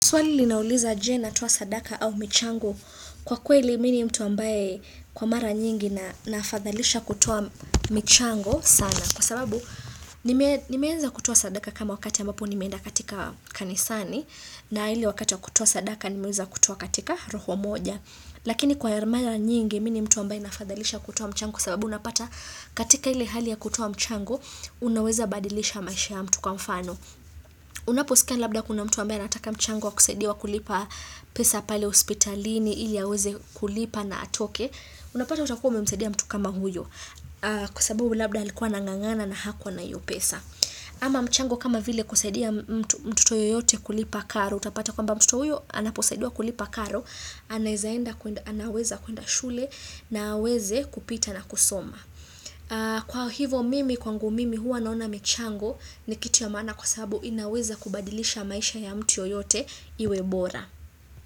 Swali linauliza je natoa sadaka au michango kwa kweli mimi ni mtu ambaye kwa mara nyingi nafadhalisha kutoa michango sana. Kwa sababu nimeweza kutoa sadaka kama wakati ambapo nimeenda katika kanisani na ili wakati wa kutoa sadaka nimeweza kutoa katika roho moja. Lakini kwa mara nyingi mimi ni mtu ambaye nafadhalisha kutoa mchango kwa sababu unapata katika ile hali ya kutoa mchango unaweza badilisha maisha ya mtu kwa mfano. Unaposikia labda kuna mtu ambaye anataka mchango wa kusaidiwa kulipa pesa pale hospitalini ili aweze kulipa na atoke Unapata utakuwa umemsaidia mtu kama huyo Kwa sababu labda alikuwa anang'ang'ana na hakuwa na hiyo pesa Ama mchango kama vile kusaidia mtoto yoyote kulipa karo Utapata kwamba mtoto huyo anaposaidiwa kulipa karo anaweza kuenda shule na aweze kupita na kusoma Kwa hivo mimi kwangu mimi huwa naona michango ni kitu ya maana kwa sababu inaweza kubadilisha maisha ya mtu yoyote iwe bora.